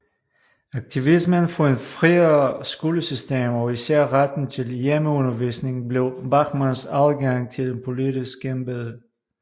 Aktivismen for et friere skolesystem og især retten til hjemmeundervisning blev Bachmanns adgang til et politisk embede